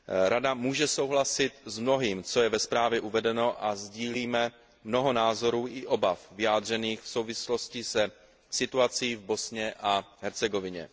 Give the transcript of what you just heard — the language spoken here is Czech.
Rada může souhlasit s mnohým, co je ve zprávě uvedeno, a sdílíme mnoho názorů i obav vyjádřených v souvislosti se situací v Bosně a Hercegovině.